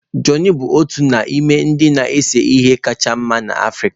Johnny bụ otu n'ime ndị na-ese ihe kacha mma n'Africa